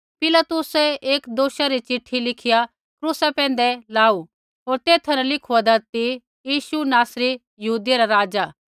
पिलातुसै एक दोषा री चिट्ठी लिखिया क्रूसा पैंधै लाऊ होर तेथा न ऐ लिखू होन्दा ती यीशु नासरी यहूदियै रा राज़ा